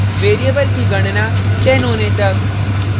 variable की गणना 10 होने तक